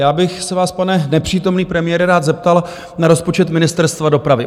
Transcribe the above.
Já bych se vás, pane nepřítomný premiére, rád zeptal na rozpočet Ministerstva dopravy.